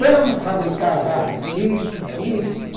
Vamos fabricar já isso, isso.